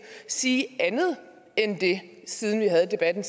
sige andet end det siden vi havde debatten